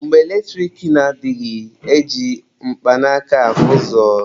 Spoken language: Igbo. Mgbe eletrik na adịghị, e ji mkpanaaka ahụ ụzọ.